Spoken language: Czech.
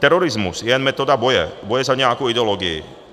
Terorismus je jen metoda boje, boje za nějakou ideologii.